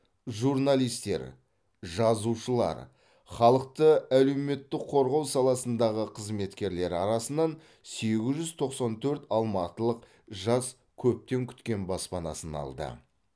журналистер жазушылар халықты әлеуметтік қорғау саласындағы қызметкерлері арасынан сегіз жүз тоқсан төрт алматылық жас көптен күткен баспанасын алды